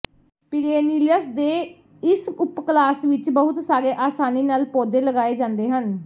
perennials ਦੇ ਇਸ ਉਪ ਕਲਾਸ ਵਿਚ ਬਹੁਤ ਸਾਰੇ ਆਸਾਨੀ ਨਾਲ ਪੌਦੇ ਲਗਾਏ ਜਾਂਦੇ ਹਨ